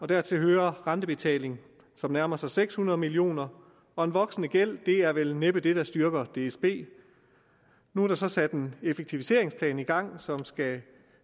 dertil hører rentebetaling som nærmer sig seks hundrede million kr og en voksende gæld er vel næppe det der styrker dsb nu er der så sat en effektiviseringsplan i gang som skal